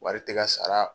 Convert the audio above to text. Wari tɛ ka sara